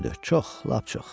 Çox, lap çox.